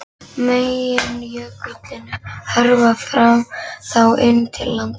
Meginjökullinn hörfaði þá inn til landsins.